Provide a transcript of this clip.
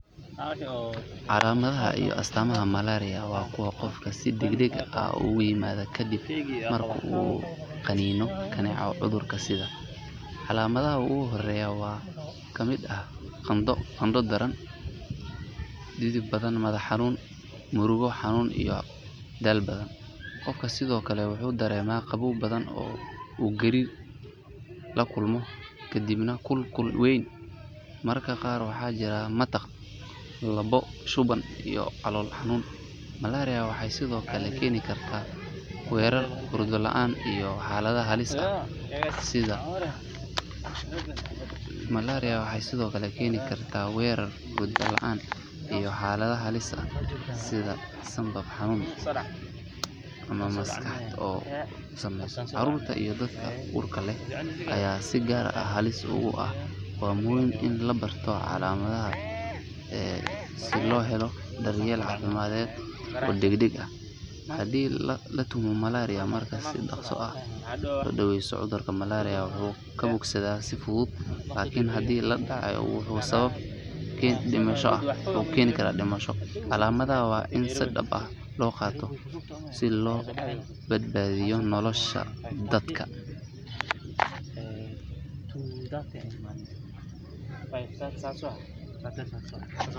Calaamadaha iyo astaamaha malaria waa kuwo qofka si degdeg ah ugu yimaada kadib marka uu qaniino kaneeco cudurka sida. Calaamadaha ugu horreeya waxaa ka mid ah qandho daran, dhidid badan, madax xanuun, murqo xanuun iyo daal badan. Qofka sidoo kale wuxuu dareemaa qabow badan oo uu gariir la kulmo kadibna kul kul weyn. Mararka qaar waxaa jira matag, lalabo, shuban iyo calool xanuun. Malaria waxay sidoo kale keeni kartaa wareer, hurdo la’aan iyo xaalado halis ah sida sambab xanuun ama maskaxda oo uu saameeyo. Carruurta iyo dadka uurka leh ayaa si gaar ah halis ugu ah. Waa muhiim in la barto calaamadahan si loo helo daryeel caafimaad oo degdeg ah haddii la tuhmo malaria. Marka si dhaqso ah loo daweeyo cudurka malaria wuxuu ka bogsadaa si fudud, laakiin haddii la.